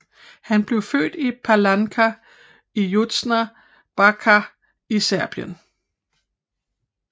Han blev født i Palánka i Južna Bačka i Serbien